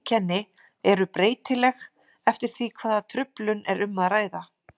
Einkenni eru breytileg eftir því hvaða truflun er um að ræða.